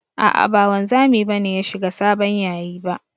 A'a ba wanzami ba ne ya shiga sabon yayi ba.